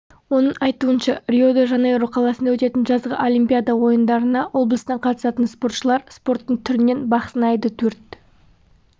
оның айтуынша рио-де-жанейро қаласында өтетін жазғы олимпиада ойындарына облыстан қатысатын спортшылар спорттың түрінен бақ сынайды төрт